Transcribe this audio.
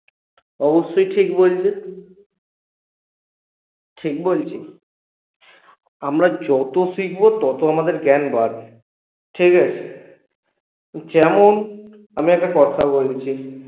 অবশ্যই ঠিক বলছি ঠিক বলছি? আমরা যত শিখবো তত আমাদের জ্ঞান বাড়বে ঠিকাছে? যেমন আমি একটা কথা বলছি